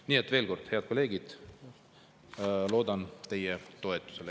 Nii et veel kord, head kolleegid, loodan teie toetusele.